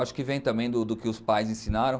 Acho que vem também do que os pais ensinaram.